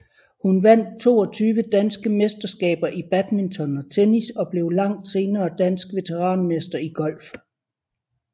Hun vandt 22 danske mesterskaber i badminton og tennis og blev langt senere dansk veteranmester i golf